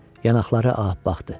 Yanaqları ağappaqdı.